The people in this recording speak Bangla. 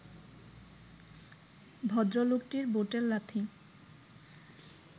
ভদ্রলোকটির বুটের লাথি